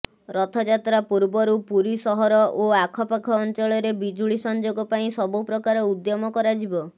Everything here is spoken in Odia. ରଥଯାତ୍ରା ପୂର୍ବରୁ ପୁରୀ ସହର ଓ ଆଖପାଖ ଅଞ୍ଚଳରେ ବିଜୁଳି ସଂେଯାଗ ପାଇଁ ସବୁପ୍ରକାର ଉଦ୍ୟମ କରାଯିବ